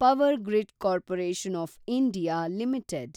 power grid corporation of India limited